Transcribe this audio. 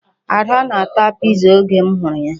Ada na-ata Piza oge m hụrụ ya.